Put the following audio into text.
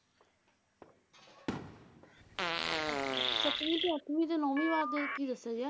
ਤੇ ਸੱਤਵੀਂ ਤੇ ਅੱਠਵੀਂ ਤੇ ਨੌਵੀਂ ਵਾਰ ਦੇ ਵਿੱਚ ਕੀ ਦੱਸਿਆ ਗਿਆ?